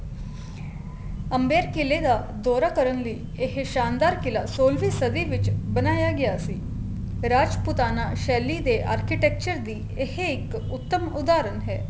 ਅਮਬੇਧ ਕਿਲ੍ਹੇ ਦਾ ਦੋਰਾ ਕਰਨ ਲਈ ਇਹ ਸ਼ਾਨਦਾਰ ਕਿਲ੍ਹਾ ਸੋਲਵੀ ਸਦੀ ਵਿੱਚ ਬਣਾਇਆ ਗਿਆ ਸੀ ਰਾਜਪੁਤਾਨਾ ਸੇਲੀ ਦੇ architecture ਦੀ ਇਹ ਇੱਕ ਉਤਮ ਉਦਾਹਰਨ ਹੈ